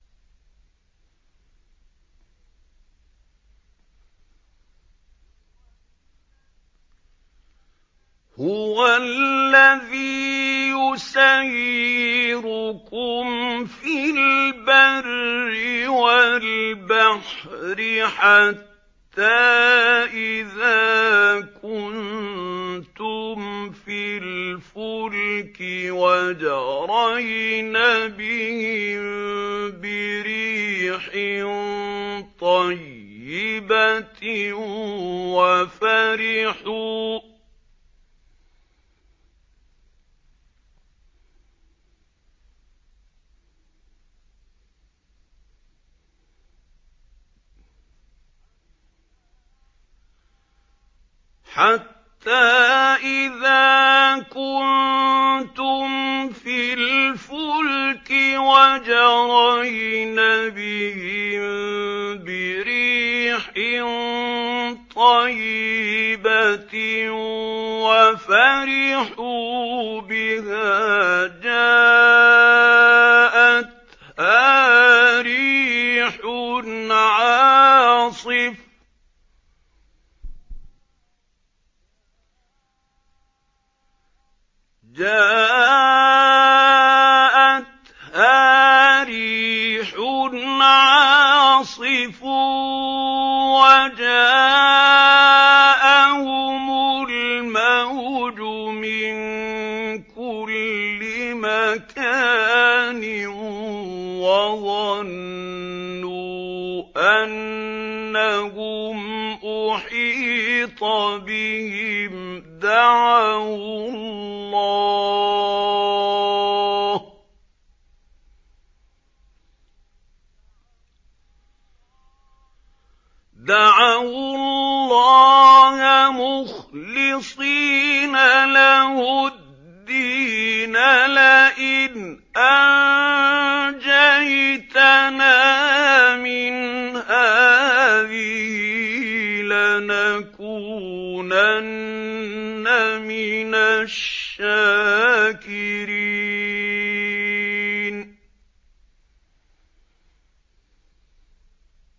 هُوَ الَّذِي يُسَيِّرُكُمْ فِي الْبَرِّ وَالْبَحْرِ ۖ حَتَّىٰ إِذَا كُنتُمْ فِي الْفُلْكِ وَجَرَيْنَ بِهِم بِرِيحٍ طَيِّبَةٍ وَفَرِحُوا بِهَا جَاءَتْهَا رِيحٌ عَاصِفٌ وَجَاءَهُمُ الْمَوْجُ مِن كُلِّ مَكَانٍ وَظَنُّوا أَنَّهُمْ أُحِيطَ بِهِمْ ۙ دَعَوُا اللَّهَ مُخْلِصِينَ لَهُ الدِّينَ لَئِنْ أَنجَيْتَنَا مِنْ هَٰذِهِ لَنَكُونَنَّ مِنَ الشَّاكِرِينَ